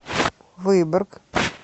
выборг